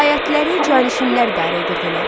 Vilayətləri canişinlər idarə edirdilər.